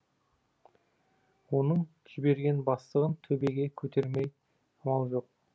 оның жіберген бастығын төбеге көтермей амал жоқ